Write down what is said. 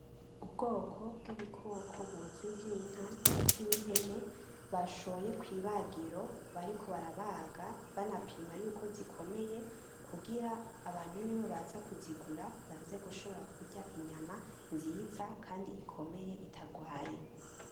Ubwoko bwibikoko buzwi nkinka ndetse nimpene bashoye kwibagiro bariko barabaga banapima yuko zikomeye kugira niyo abantu baza kuzigura baze gushobora kurya inyama nziza kandi ikomeye itarwaye.